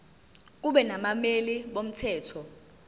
kube nabameli bomthetho